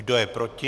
Kdo je proti?